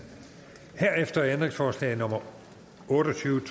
herefter er ændringsforslag nummer otte og tyve